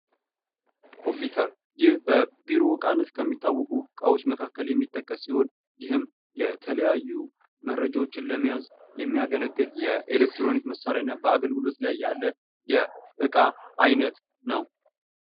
ኮምፒዩተር ይህ በቢሮ እቃነት ከሚታወቁ እቃዎች የሚመደብ ሲሆን ይህም መረጃዎችን ለመያዝ የሚያገለግል የኤሌክትሮኒክስ መሳሪያ እና በአገልግሎት ላይ ያለ እቃ ነዉ።